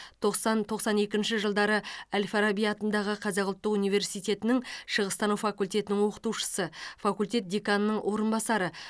тоқсан тоқсан екінші жылдары әл фараби атындағы қазақ ұлттық университетінің шығыстану факультетінің оқытушысы факультет деканының орынбасары